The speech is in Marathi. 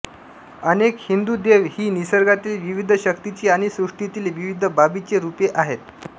अनेक हिंदू देव ही निसर्गातील विविध शक्तींची आणि सृष्टीतील विविध बाबींची रूपे आहेत